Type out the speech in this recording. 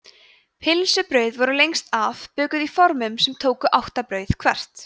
pylsubrauð voru lengst af bökuð í formum sem tóku átta brauð hvert